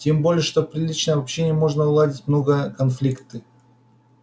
тем более что при личном общении можно уладить многое конфликты